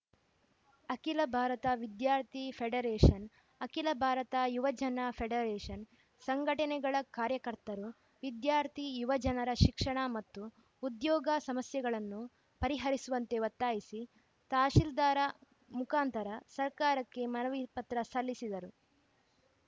ಅಖಿಲ ಭಾರತ ವಿದ್ಯಾರ್ಥಿ ಫೆಡರೇಷನ್‌ ಅಖಿಲ ಭಾರತ ಯುವಜನ ಫೆಡರೇಷನ್‌ ಸಂಘಟನೆಗಳ ಕಾರ್ಯಕರ್ತರು ವಿದ್ಯಾರ್ಥಿ ಯುವಜನರ ಶಿಕ್ಷಣ ಮತ್ತು ಉದ್ಯೋಗ ಸಮಸ್ಯೆಗಳನ್ನು ಪರಿಹರಿಸುವಂತೆ ಒತಾಯ್ತಿಸಿ ತಹಸೀಲ್ದಾರ್‌ ಮುಖಾಂತರ ಸರ್ಕಾರಕ್ಕೆ ಮನವಿ ಪತ್ರ ಸಲ್ಲಿಸಿದರು